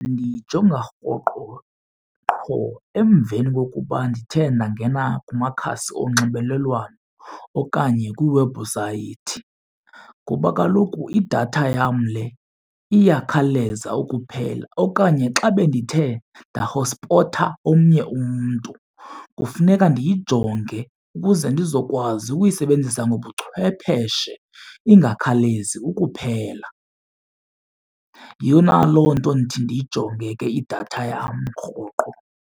Ndiyijonga rhoqo qho emveni kokuba ndithe ndangena kumakhasi onxibelelwano okanye kwiiwebhusayithi ngoba kaloku idatha yam le iyakhawuleza ukuphela. Okanye xa bendithe ndahothspotha omnye umntu kufuneka ndiyijonge ukuze ndizokwazi ukuyisebenzisa ngobuchwepheshe ingakhawulezi ukuphela. Yeyona loo nto ndithi ndiyijonge ke idatha yam rhoqo.